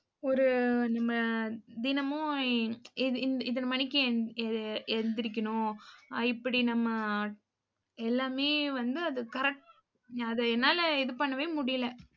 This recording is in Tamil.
ஒரு நம்ம, தினமும் இ~ இத்~ இத்தனை மணிக்கு எ~ எந்திரிக்கணும். ஆஹ் இப்படி நம்ம எல்லாமே வந்து அதை correct என்னால இது பண்ணவே முடியலை